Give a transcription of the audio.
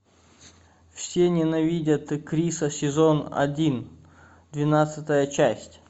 все ненавидят криса сезон один двенадцатая часть